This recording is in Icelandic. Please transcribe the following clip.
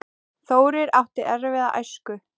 Þórir átti erfiða æsku.